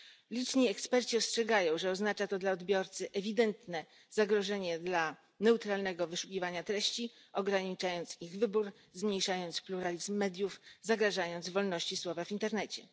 Liczni eksperci ostrzegają, że oznacza to dla odbiorcy ewidentne zagrożenie dla neutralnego wyszukiwania treści ograniczając ich wybór, zmniejszając pluralizm mediów, zagrażając wolności słowa w internecie.